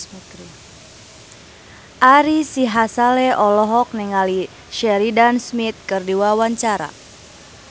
Ari Sihasale olohok ningali Sheridan Smith keur diwawancara